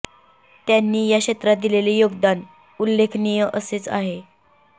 त्यांनी या क्षेत्रात दिलेले योगदान उल्लेखनी असेच आहे